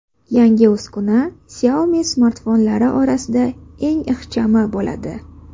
Yangi uskuna Xiaomi smartfonlari orasida eng ixchami bo‘ladi.